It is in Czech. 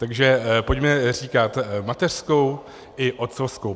Takže pojďme říkat mateřskou i otcovskou.